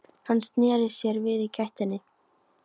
Hann sneri sér við í gættinni.